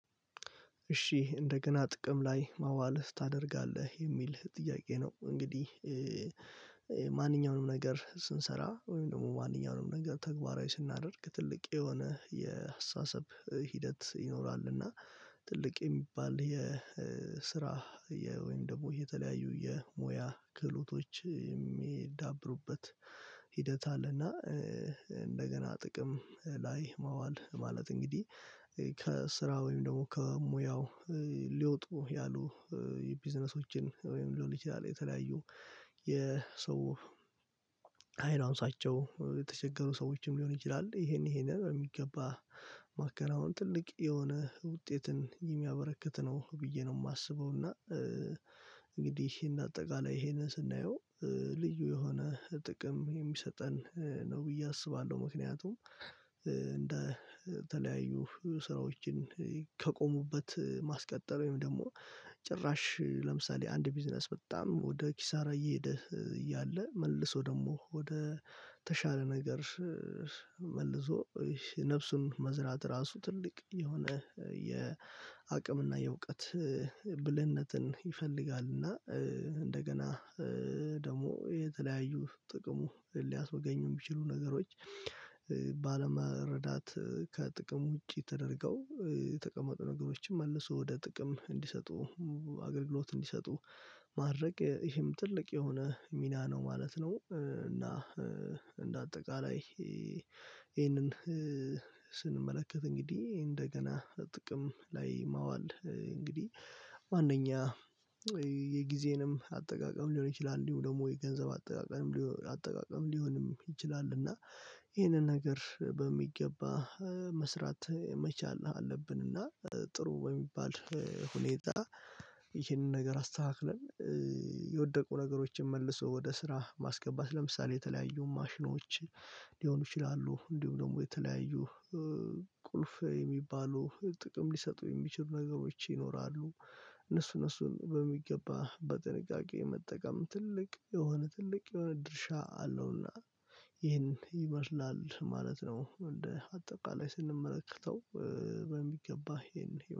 እሺ እንደገና ጥቅም ላይ ማዋልህ ታደርጋለህ የሚልህ ጥያቄ ነው? እንግዲህ እ እ ማንኛውንም ነገር ስንሰራ ወይም ደግሞ ማንኛውንም ነገር ተግባራዊ ስናደርግ ትልቅ የሆነ የአስተሳሰብ ሂደት ይኖራልና። ትልቅ የሚባል የ ስራ የ ወይም ደግሞ የተለያዩ የሙያ ክህሎቶች የሚዳብሩበት ሂደት አለና። እ እንደገና ጥቅም እ ላይ ማዋል ማለት እንግዲህ እ ከስራ ወይም ደግሞ ከሙያው እ ሊወጡ ያሉ የቢዝነሶችን እ ወይም ሊሆን ይችላል የተለያዩ የ ሰው አይን አንሷቸው የተቸገሩ ሰዎችም ሊሆን ይችላል ይሄን ይሄንን የሚገባ ማከናወን ትልቅ የሆነ ውጤትን የሚያበረክት ነው ብዬ ነው የማስበው። እና እ እንግዲህ ይሄን አጠቃላይ ይሄንን ስናየው እ ልዩ የሆነ ጥቅም የሚሰጠን እ ነው ብዬ አስባለሁ። ምክንያቱም እ እንደተለያዩ ስራዎችን እ ከቆሙበት ማስቀጠል ወይም ደግሞ ጭራሽ እ ለምሳሌ አንድ ቢዝነስ በጣም ወደ ኪሳራ እየሄደ እ እያለ መልሶ ደግሞ ወደ ተሻለ ነገር እ መልሶ ነፍሱን መዝራት ራሱ ትልቅ የሆነ እ የ አቅምና የእውቀት እ ብልህነትን ይፈልጋልና። እ እንደገና እ ደግሞ የተለያዩ ጥቅሙ ሊያስመገኙም የሚችሉ ነገሮች እ ባለመረዳት እ ከጥቅም ውጪ ተደርገው እ የተቀመጡ ነገሮችን መልሶ ወደ ጥቅም እንዲሰጡ እ አገልግሎት እንዲሰጡ ማድረግ እ ይሄም ትልቅ የሆነ ሚና ነው ማለት ነው። እ እና እ እንደ አጠቃላይ እ ይሄንን እ ስንመለከት እንግዲህ እንደገና ጥቅም ላይ ማዋል እንግዲህ ማንኛውም የጊዜንም አጠቃቀም ሊሆን ይችላል እንዲሁም ደግሞ የገንዘብ አጠቃቀም አጠቃቀም ሊሆንም ይችላል እና ይህንን ነገር በሚገባ እ መስራት መቻል አለብን። እና ጥሩ በሚባል እ ሁኔታ ይህንን ነገር አስተካክለን እ የወደቁ ነገሮችን መልሶ ወደ ስራ ማስገባት ለምሳሌ የተለያዩ ማሽኖች ሊሆኑ ይችላሉ። እንዲሁም ደግሞ የተለያዩ እ ቁልፍ የሚባሉ ጥቅም ሊሰጡ የሚችሉ ነገሮች ይኖራሉ እነሱ እነሱን በሚገባ በጥንቃቄ መጠቀም ትልቅ የሆነ ትልቅ የሆነ ድርሻ አለውና። ይህን ይመስላል ማለት ነው እንደ አጠቃላይ ስንመለከተው እ በሚገባ ይሄን